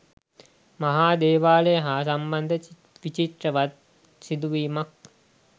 මහා දේවාලය හා සම්බන්ධ විචිත්‍රවත් සිදුවීමත්